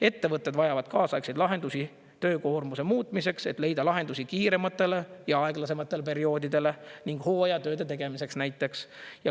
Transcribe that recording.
Ettevõtted vajavad kaasaegseid lahendusi töökoormuse muutmiseks, et leida lahendusi kiirematele ja aeglasematele perioodidele ning hooajatööde tegemiseks näiteks.